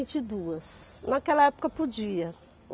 e duas, naquela época, podia.